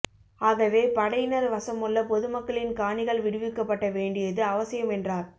ஆகவே படையினர் வசமுள்ள பொதுமக்களின் காணிகள் விடுவிக்கப்பட வேண்டியது அவசியம் என்றார்